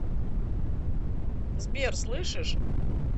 сбер слышишь